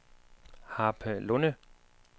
Harpelunde